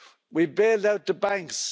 We bailed out the banks.